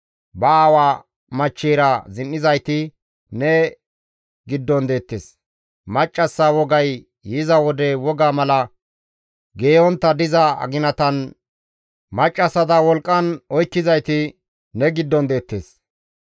Ba aawa machcheyra zin7izayti ne giddon deettes; maccassa wogay yiza wode woga mala geeyontta diza aginatan maccassata wolqqan oykkizayti ne giddon deettes.